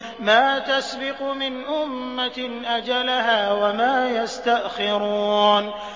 مَّا تَسْبِقُ مِنْ أُمَّةٍ أَجَلَهَا وَمَا يَسْتَأْخِرُونَ